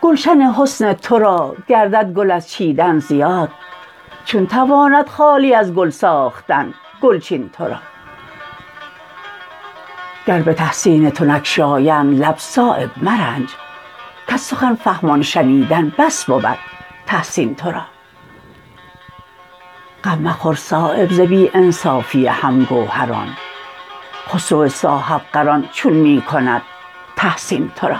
گلشن حسن ترا گردد گل از چیدن زیاد چون تواند خالی از گل ساختن گلچین ترا گر به تحسین تو نگشایند لب صایب مرنج کز سخن فهمان شنیدن بس بود تحسین ترا غم مخور صایب ز بی انصافی هم گوهران خسرو صاحبقران چون می کند تحسین ترا